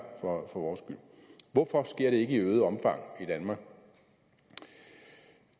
for vores skyld hvorfor sker det ikke i øget omfang i danmark